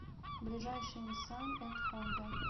ближайший ниссан энд хонда